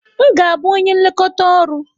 M ga-abụ onye nlekọta ọrụ.